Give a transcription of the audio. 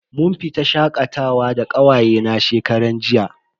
Mun fita shakatawa da kawaye na shekaran jiya.